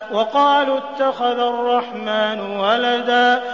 وَقَالُوا اتَّخَذَ الرَّحْمَٰنُ وَلَدًا